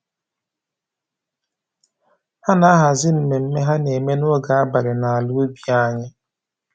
Ha na-ahazi mmemme ha na-eme n'oge abalị n'ala ubi anyị